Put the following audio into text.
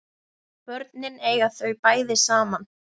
Börnin eiga þau bæði saman